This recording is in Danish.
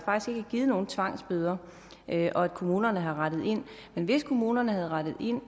givet nogen tvangsbøder og at kommunerne har rettet ind men hvis kommunerne havde rettet ind